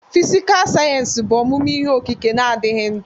Fịsịkà sayensị bụ ọmụmụ ihe okike na-adịghị ndụ.